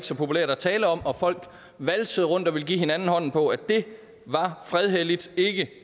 så populært at tale om og folk valsede rundt og ville give hinanden hånden på at det var fredhelligt ikke